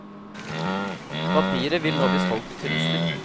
Papiret vil nå bli solgt til turister.